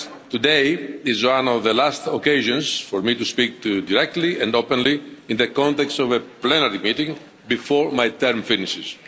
Today is one of the last occasions for me to speak to you directly and openly in the context of a plenary meeting before my term finishes.